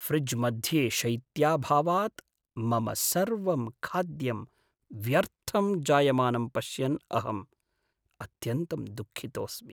फ्रिज्मध्ये शैत्याभावात् मम सर्वं खाद्यं व्यर्थं जायमानं पश्यन् अहम् अत्यन्तं दुःखितोस्मि।